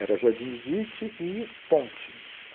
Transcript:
Era Jardim Edite e Ponte.